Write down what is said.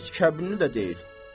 Heç kəbinli də deyil.